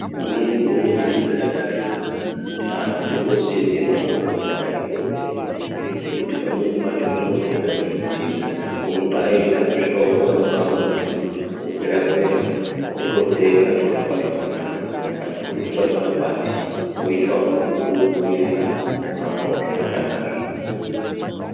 Inini ndinoona chiri chiro chakanaka kuti antu tipote teiziye makomboti akatikomberedza ngekuti pamweni pacho zvinopota zveitsinza unombaienda wosvika wotorawo kamudzi wokwera kwera wototsenga zvohamba zvakanaka, kana kuti wotora zvimakwati wobhorisawo zvohambawo zvakanakazve.